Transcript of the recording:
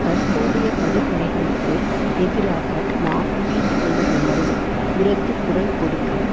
தற்போதைய படுகொலைகளுக்கு எதிராக நாம் பீதி கொள்ள வேண்டும் உரத்து குரல் கொடுக்க